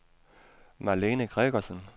Marlene Gregersen